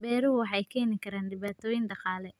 Beeruhu waxay keeni karaan dhibaatooyin dhaqaale.